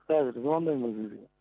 қазір звондаймын бір жерге